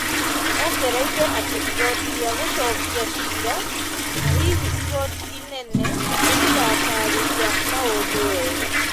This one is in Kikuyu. Ongereire atĩ igooti rĩa gũcookia ciira na hihi igooti inene nĩ rĩgataarĩria maũndũ wega.